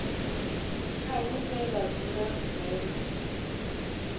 tsha hune vha dzula hone